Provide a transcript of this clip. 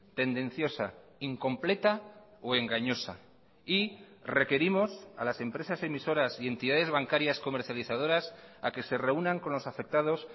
tendenciosa incompleta o engañosa y requerimos a las empresas emisoras y entidades bancarias comercializadoras a que se reúnan con los afectados